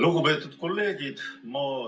Lugupeetud kolleegid!